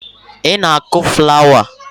Ị na-akụ flawa